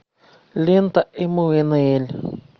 лента эммануэль